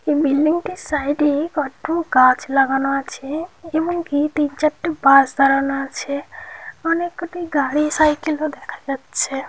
Building -টির side --এ কত গাছ লাগানো আছে এবং কি তিন চারটি বাস দাঁড়ানো আছে অনেক গুলি গাড়ি সাইকেল -ও দেখা যাচ্ছে।